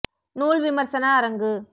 நூல் விமர்சன அரங்கு